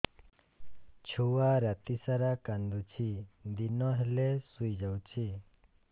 ଛୁଆ ରାତି ସାରା କାନ୍ଦୁଚି ଦିନ ହେଲେ ଶୁଇଯାଉଛି